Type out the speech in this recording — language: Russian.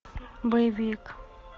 боевик